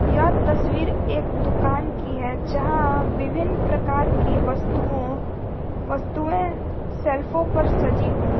यह तस्वीर एक दुकान की है जहां विभिन्न प्रकार की वस्तुओं वस्तुएं शेल्फों पर सजी हुई है।